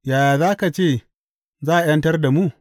Yaya za ka ce za a ’yantar da mu?